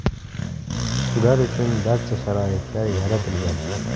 Ular uchun barcha sharoitlar yaratilgan.